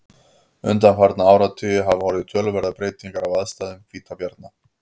undanfarna áratugi hafa orðið töluverðar breytingar á aðstæðum hvítabjarna